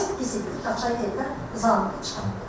Saat 8 idi, Qaçay evdən Zamiqi çıxardı.